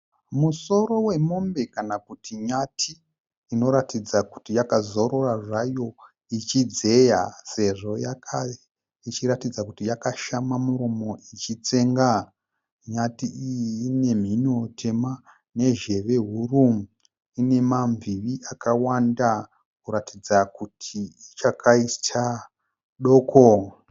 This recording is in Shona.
Musoro wemombe kana kuti nyati inoratidza kuti yakazorora zvayo ichidzeya. Sezvo ichiratidza kuti yakashama muromo ichitsenga . Nyati iyi ine mhino tema nezheve huru. Ine ma mbivi akawanda kuratidza kuti ichakaita doko.